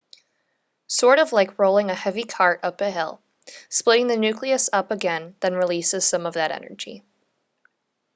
sort of like rolling a heavy cart up a hill splitting the nucleus up again then releases some of that energy